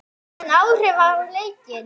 Hafði hann áhrif á leikinn?